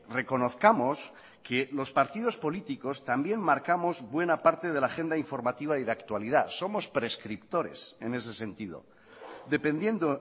reconozcamos que los partidos políticos también marcamos buena parte de la agenda informativa y de actualidad somos prescriptores en ese sentido dependiendo